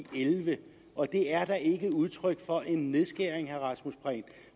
elleve og det er da ikke udtryk for en nedskæring